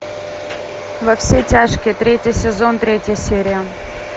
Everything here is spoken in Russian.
во все тяжкие третий сезон третья серия